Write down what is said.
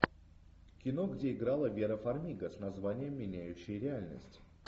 кино где играла вера фармига с названием меняющие реальность